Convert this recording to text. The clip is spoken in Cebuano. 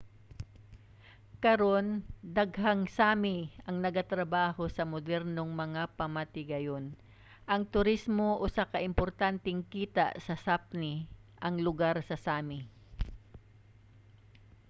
karon daghang sámi ang nagatrabaho sa modernong mga pamatigayon. ang turismo usa ka importanteng kita sa sápmi ang lugar sa sámi